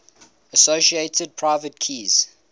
associated private keys